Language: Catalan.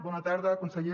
bona tarda conseller